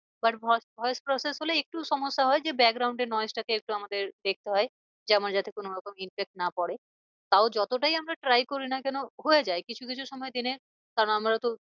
But voice call শেষ হলেই একটু সমস্যা হয় যে এর টাকে একটু আমাদের দেখতে হয়। যে আমার যাতে কোনো রকম না পরে তাও যতটাই আমরা try করি না কেন হয়ে যায় কিছু কিছু সময় দিনে কারণ আমরা তো